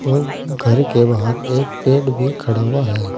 और घर के बाहर एक पेड़ भी खड़ा हुआ है।